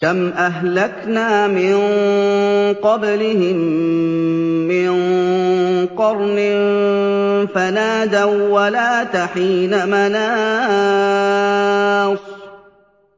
كَمْ أَهْلَكْنَا مِن قَبْلِهِم مِّن قَرْنٍ فَنَادَوا وَّلَاتَ حِينَ مَنَاصٍ